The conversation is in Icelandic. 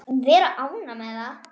Vera ánægð með það.